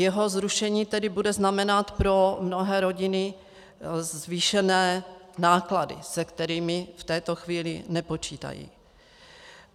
Jeho zrušení tedy bude znamenat pro mnohé rodiny zvýšené náklady, se kterými v této chvíli nepočítají.